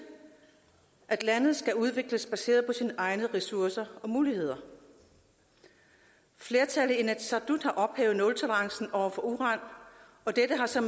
at lande skal udvikles baseret på egne ressourcer og muligheder flertallet i inatsisartut har ophævet nultolerancen over for uran og dette har så